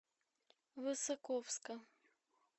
высоковска